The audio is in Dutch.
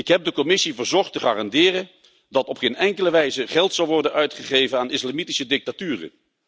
Ik heb de Commissie verzocht te garanderen dat op geen enkele wijze geld zal worden uitgegeven aan islamitische dictaturen.